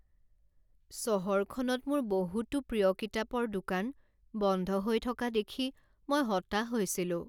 চহৰখনত মোৰ বহুতো প্ৰিয় কিতাপৰ দোকান বন্ধ হৈ থকা দেখি মই হতাশ হৈছিলোঁ।